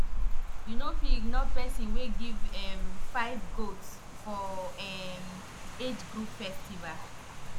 you no fit ignore person wey give um five goat for um age group festival